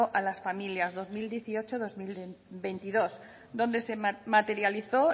a las familias dos mil dieciocho dos mil veintidós donde se materializó